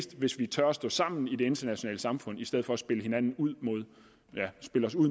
hvis vi tør stå sammen i det internationale samfund i stedet for at spille hinanden ud